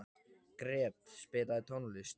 Gret, spilaðu tónlist.